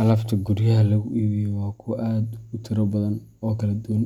Alaabta guryaha lagu iibiyo waa kuwo aad u tiro badan oo kala duwan,